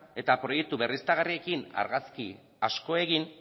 eta proiektu berriztagarriekin argazki asko egin